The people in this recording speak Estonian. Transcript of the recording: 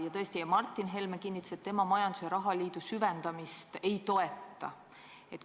Ja tõesti Martin Helme kinnitas, et tema majandus- ja rahaliidu süvendamist ei toeta.